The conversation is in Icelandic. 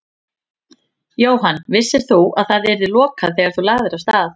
Jóhann: Vissir þú að það yrði lokað þegar þú lagðir af stað?